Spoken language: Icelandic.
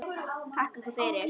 Þakka ykkur fyrir!